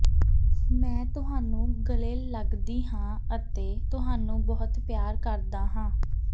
ਮੈਂ ਤੁਹਾਨੂੰ ਗਲ਼ੇ ਲੱਗਦੀ ਹਾਂ ਅਤੇ ਤੁਹਾਨੂੰ ਬਹੁਤ ਪਿਆਰ ਕਰਦਾ ਹਾਂ